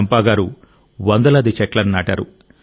చంపా గారు వందలాది చెట్లను నాటారు